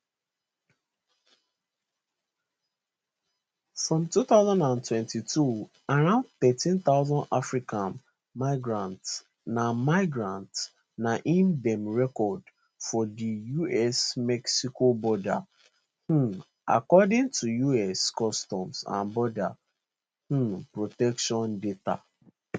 for 2022 around thirteen thousand african migrants na migrants na im dem record for di usmexico border um according to us customs and border um protection data